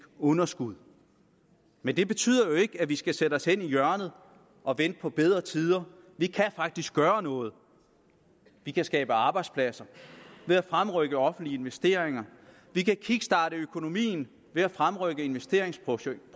underskud men det betyder jo ikke at vi skal sætte os hen i hjørnet og vente på bedre tider vi kan faktisk gøre noget vi kan skabe arbejdspladser ved at fremrykke offentlige investeringer vi kan kickstarte økonomien ved at fremrykke investeringsprojekter